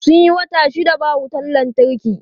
Sun yi wata shida ba wutan lantarki.